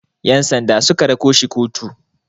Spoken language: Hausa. Yansanda su ka rako shi kotu.